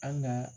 An ka